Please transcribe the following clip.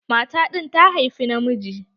Mata ɗin ta haifa na miji.